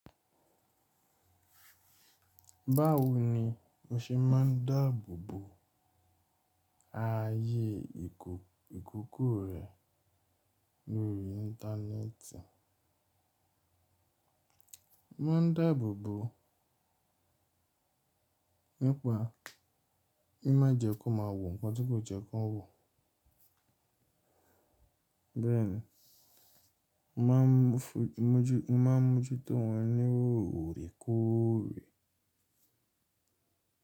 Báwo ni o ṣe máa n dáàbò bo ààyè ìkòkò rẹ lórí Íńtánẹ́ẹ̀tì? Máa n dáàbò bo nípa, n má jẹ kó má wò nnkan tí kò jẹ́ kó wò. Bẹ́ẹ̀ ni, mo maa mojú to wọ́n ni oórekoòre.